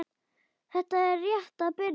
Þetta er rétt að byrja.